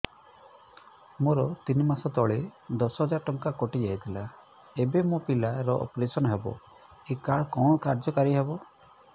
ମୋର ତିନି ମାସ ତଳେ ଦଶ ହଜାର ଟଙ୍କା କଟି ଯାଇଥିଲା ଏବେ ମୋ ପିଲା ର ଅପେରସନ ହବ ଏ କାର୍ଡ କଣ କାର୍ଯ୍ୟ କାରି ହବ